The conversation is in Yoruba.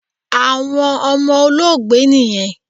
Awọn ọmọ Olóògbé niyẹn